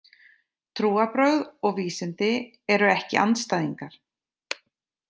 Trúarbrögð og vísindi eru ekki andstæðingar.